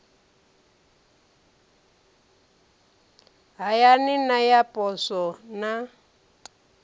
hayani na ya poswo na